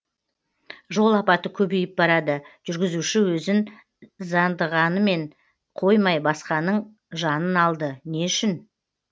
жол апаты көбейіп барады жүргізуші өзін зяндағанымен қоймай басқаның жанын алды не үшін